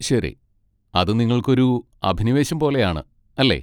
ശരി, അത് നിങ്ങൾക്ക് ഒരു അഭിനിവേശം പോലെയാണ്, അല്ലേ?